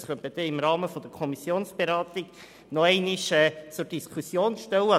Das könnte man im Rahmen der Kommissionsberatung noch einmal zur Diskussion stellen.